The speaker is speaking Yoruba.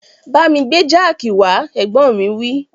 Bámi gbé jáàkì wá, Ẹ̀gbọ́n mi wí